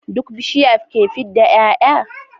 Duk bishiya ke fidda y'ay'a